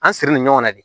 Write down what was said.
An sirilen ɲɔgɔnna de